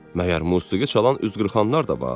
Məgər musiqi çalan üzqırxanlar da var?"